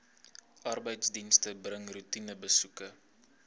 arbeidsdienste bring roetinebesoeke